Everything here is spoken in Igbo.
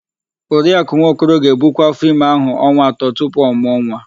Oriakụ Nwokoro ga-ebukwu áfọ́ime áhụ̀ ọnwa atọ tupu ọ mụọ nwa.